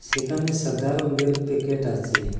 সেখানে সাদা রঙ্গের প্যাকেট আছে।